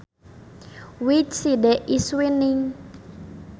Which side is winning